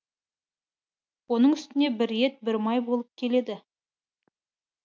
оның үстіне бір ет бір май болып келеді